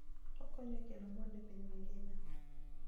Okonyo e kelo mwandu e piny mangima.